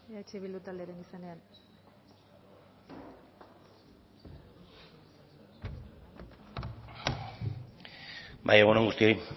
eh bildu taldearen izenean bai egun on guztioi